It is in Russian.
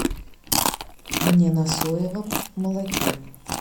мне на соевом молоке